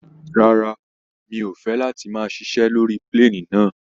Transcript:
Rárá, mi ò fẹ́ láti máa ṣiṣé lórí plane náà.